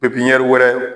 pipiɲɛri